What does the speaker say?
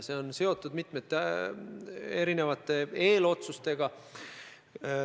See on seotud mitmete erinevate eelotsustega.